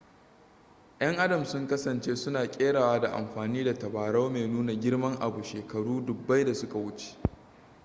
'yan adam sun kasance suna kerawa da amfani da tabarau mai nuna girman abu shekaru dubbai da suka wuce